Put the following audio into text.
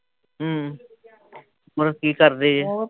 ਹੱਮਮ ਮਤਲਬ ਕੀ ਕਰਦੇ ਜੇ